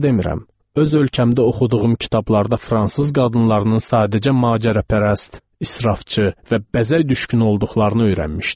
Öz ölkəmdə oxuduğum kitablarda fransız qadınlarının sadəcə macərapərəst, israfçı və bəzək düşkünü olduqlarını öyrənmişdim.